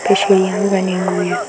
त्रिशूल भी बने हुए हैं।